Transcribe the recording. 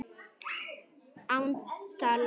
Án dals.